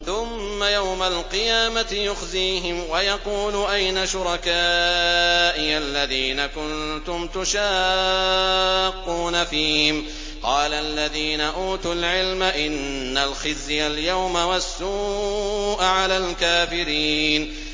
ثُمَّ يَوْمَ الْقِيَامَةِ يُخْزِيهِمْ وَيَقُولُ أَيْنَ شُرَكَائِيَ الَّذِينَ كُنتُمْ تُشَاقُّونَ فِيهِمْ ۚ قَالَ الَّذِينَ أُوتُوا الْعِلْمَ إِنَّ الْخِزْيَ الْيَوْمَ وَالسُّوءَ عَلَى الْكَافِرِينَ